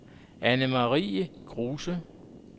Annemarie Kruse